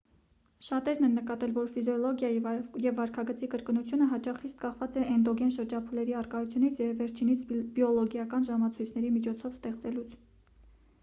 շատերն են նկատել որ ֆիզիոլոգիայի և վարքագծի կրկնությունը հաճախ խիստ կախված է էնդոգեն շրջափուլերի առկայությունից և վերջինիս բիոլոգիական ժամցույցների միջոցով ստեղծելուց